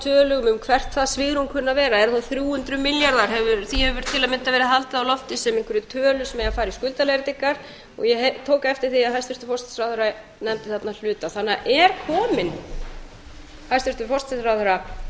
tölum um hvert það svigrúm kunni að vera er það þrjú hundruð milljarðar því hefur til að mynda verið haldið á lofti sem einhverri tölu sem eigi að fara í skuldaleiðréttingar ég tók eftir því að hæstvirtur forsætisráðherra nefndi þarna hluta er komin hæstvirtur forsætisráðherra